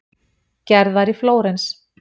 Gerðar í Flórens.